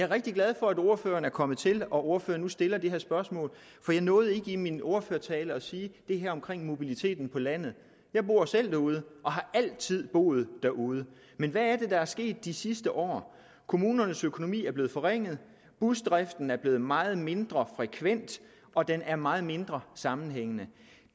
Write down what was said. rigtig glad for at ordføreren er kommet til og at ordføreren nu stiller det her spørgsmål for jeg nåede ikke i min ordførertale at sige det her omkring mobiliteten på landet jeg bor selv derude og har altid boet derude men hvad er er sket de sidste år kommunernes økonomi er blevet forringet busdriften er blevet meget mindre frekvent og den er meget mindre sammenhængende